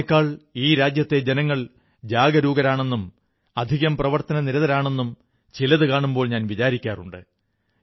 എെന്നക്കാൾ ഈ രാജ്യത്തെ ജനങ്ങൾ ജാഗരൂകരാണെന്നും അധികം പ്രവർത്തനനിരതരാണെന്നും ചിലതു കാണുമ്പോൾ ഞാൻ വിചാരിക്കാറുണ്ട്